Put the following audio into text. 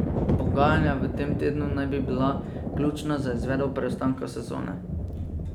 Pogajanja v tem tednu naj bi bila ključna za izvedbo preostanka sezone.